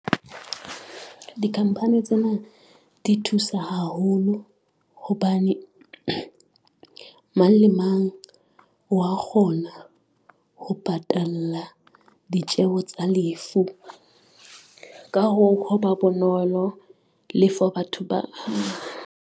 Di-company tsena di thusa haholo hobane, mang le mang wa kgona ho patala ditjeho tsa lefu ka ho, ho ba bonolo le for batho ba .